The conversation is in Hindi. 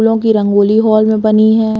फूलो की रंगोली हॉल में बनी है।